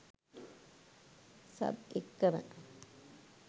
Sub එක්කම.